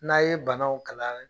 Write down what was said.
N'a ye banaw